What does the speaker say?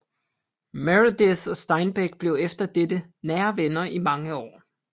Meredith og Steinbeck blev efter dette nære venner i mange år